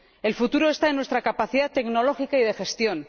El futuro está en nuestra capacidad tecnológica y de gestión.